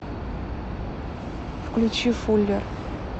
включи фуллер